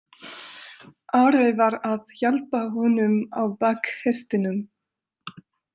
Ari var að hjálpa honum á bak hestinum.